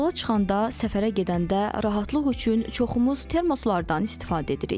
Yola çıxanda, səfərə gedəndə rahatlıq üçün çoxumuz termoslardan istifadə edirik.